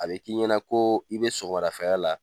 A bɛ k'i ɲɛna ko i bɛ sɔgɔmada fɛla la.